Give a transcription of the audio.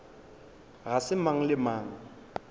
ga se mang le mang